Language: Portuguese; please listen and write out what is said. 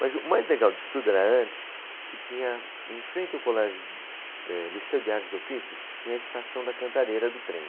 Mas o mais legal disso tudo era antes que tinha, em frente ao Colégio, eh, Liceu de Artes e Ofícios, tinha a estação da cantareira do trem.